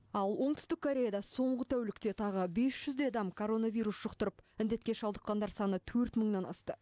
ал оңтүстік кореяда соңғы тәулікте тағы бес жүздей адам коронавирус жұқтырып індетке шалдыққандар саны төрт мыңнан асты